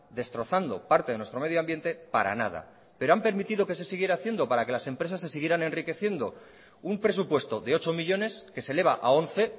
destrozando parte de nuestro medio ambiente para nada pero han permitido que se siguiera haciendo para que las empresas se siguieran enriqueciendo un presupuesto de ocho millónes que se eleva a once